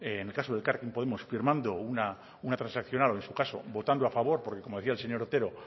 en el caso de elkarrekin podemos firmando una transaccional o en su caso votando a favor porque como decía el señor otero